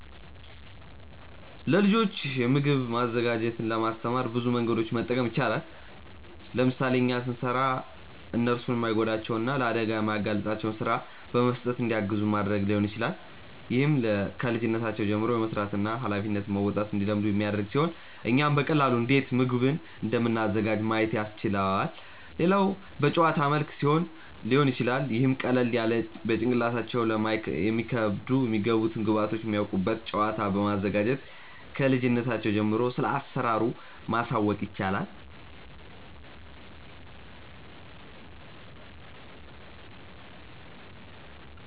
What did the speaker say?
ለልጆች ምግብ ማዘጋጀትን ለማስተማር ብዙ መንገዶችን መጠቀም ይቻላል። ለምሳሌ እኛ ስንሰራ እነርሱን የማይጎዳቸውን እና ለአደጋ የማያጋልጣቸውን ስራ በመስጠት እንዲያግዙን ማድረግ ሊሆን ይችላል። ይህም ከልጅነታቸው ጀምሮ የመስራትን እና ሃላፊነት መወጣትን እንዲለምዱ የሚያደርግ ሲሆን እኛም በቀላሉ እንዴት ምግቡን እንደምናዘጋጅ ማየት ያስችላቸዋል። ሌላው በጨዋታ መልክ ሊሆን ይችላል ይህም ቀለል ያለ ለጭንቅላታቸው የማይከብድ የሚገቡትን ግብዐቶች የሚያውቁበት ጨዋታ በማዘጋጀት ክልጅነታቸው ጀምሮ ስለአሰራሩ ማሳወቅ ይቻላል።